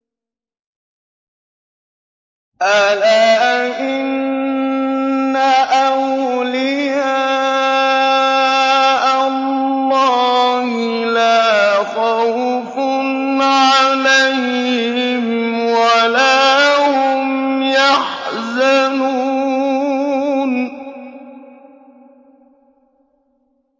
أَلَا إِنَّ أَوْلِيَاءَ اللَّهِ لَا خَوْفٌ عَلَيْهِمْ وَلَا هُمْ يَحْزَنُونَ